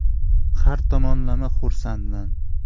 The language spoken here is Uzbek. Har tomonlama xursandman.